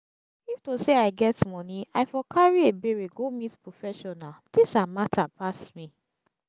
if to say i get money i for carry ebere go meet professional dis her matter pass me